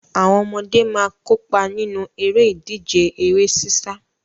Àwọn ọmọdé máa kópa nínú eré ìdíje eré sísá.